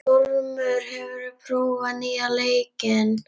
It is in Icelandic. Ormur, hefur þú prófað nýja leikinn?